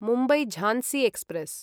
Mumbai Jhansi express